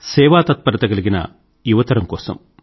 సేవాతత్పరత కలిగిన యువతరం కోసం